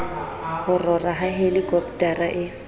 ho rora ha helikopotara e